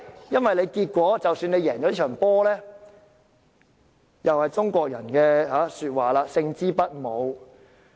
因為即使得勝也如中國古語所言，"勝之不武"。